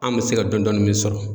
An me se ka dɔn dɔni min sɔrɔ